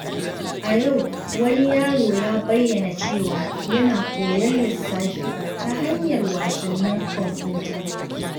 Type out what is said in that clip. A yau, wani yaro ya bayyana cewa yana koyon lissafi ta hanyar wasannin kwamfuta.